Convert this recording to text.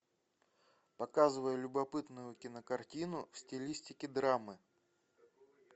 показывай любопытную кинокартину в стилистике драмы